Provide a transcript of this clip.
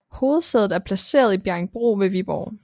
Hovedsædet er placeret i Bjerringbro ved Viborg